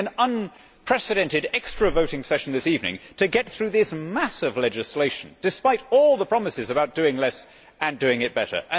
We are having an unprecedented extra voting session this evening to get through this mass of legislation, despite all the promises about doing less and doing it better.